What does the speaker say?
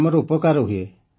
ଆମର ଉପକାର ହୁଏ